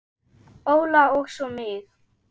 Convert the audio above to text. Óla og svo mig.